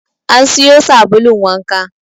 An siyo sabulun wanka.